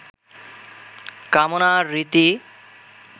কামনার রীতি